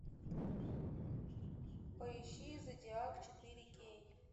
поищи зодиак четыре кей